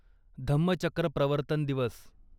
धम्मचक्र प्रवर्तन दिवस